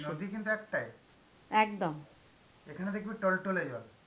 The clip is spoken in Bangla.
নদী কিন্তু একটাই. এখানে দেখবি টলটলে জল.